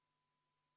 Henn Põlluaas, palun!